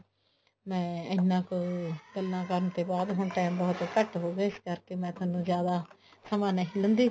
ਮੈਂ ਇੰਨਾ ਕ ਗੱਲਾਂ ਕਰਨ ਤੇ ਬਾਅਦ ਹੁਣ time ਬਹੁਤ ਘੱਟ ਹੋਗਿਆ ਇਹ ਕਰਕੇ ਮੈਂ ਥੋਨੂੰ ਜਿਆਦਾ ਸਮਾ ਨਹੀ ਲੈਂਦੀ